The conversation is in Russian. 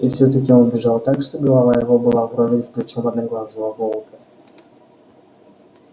и всё-таки он бежал так что голова его была вровень с плечом одноглазого волка